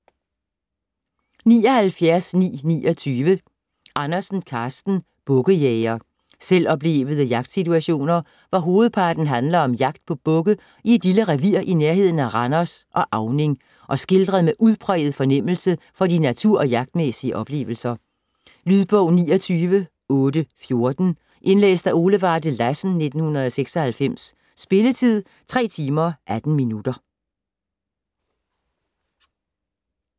79.929 Andersen, Karsten: Bukkejæger Selvoplevede jagtsituationer, hvor hovedparten handler om jagt på bukke i et lille revir i nærheden af Randers og Auning og skildret med udpræget fornemmelse for de natur- og jagtmæssige oplevelser. Lydbog 29814 Indlæst af Ole Varde Lassen, 1996. Spilletid: 3 timer, 18 minutter.